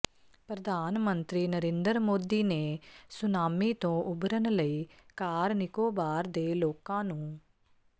ਪ੍ਰਧਾਨ ਮੰਤਰੀ ਨਰਿੰਦਰ ਮੋਦੀ ਨੇ ਸੁਨਾਮੀ ਤੋਂ ਉਭਰਨ ਲਈ ਕਾਰ ਨਿਕੋਬਾਰ ਦੇ ਲੋਕਾਂ ਨੂੰ